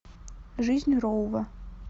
жизнь роува